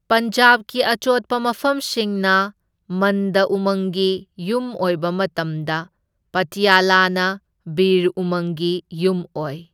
ꯄꯟꯖꯥꯕꯀꯤ ꯑꯆꯣꯠꯄ ꯃꯐꯝꯁꯤꯡꯅ ꯃꯟꯗ ꯎꯃꯪꯒꯤ ꯌꯨꯝ ꯑꯣꯏꯕ ꯃꯇꯝꯗ ꯄꯇꯤꯌꯥꯂꯥꯅꯥ ꯕꯤꯔ ꯎꯃꯪꯒꯤ ꯌꯨꯝ ꯑꯣꯏ꯫